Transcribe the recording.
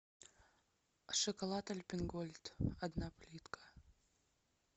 шоколад альпен гольд одна плитка